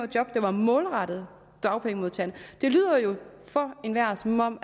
job der var målrettet dagpengemodtagerne det lyder jo for enhver som om